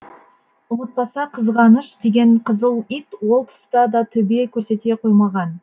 ұмытпаса қызғаныш деген қызыл ит ол тұста да төбе көрсете қоймаған